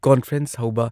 conference ꯍꯧꯕ